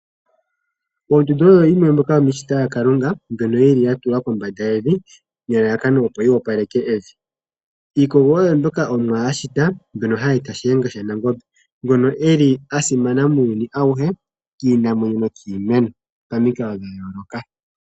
Ondundu oyo yimwe yomiishitwa yaKalunga mbyono yi li ya tulwa kombanda nelalakano opo yi opaleke evi. Iikogo oyo mbyoka Omuwa a shita mbyono hayi eta Shiyenga shaNangombe ngono eli a simana muuyuni awuhe kiinamwenyo nokiimeno pamikalo dha yooloka.